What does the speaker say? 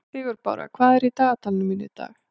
Sigurbára, hvað er í dagatalinu mínu í dag?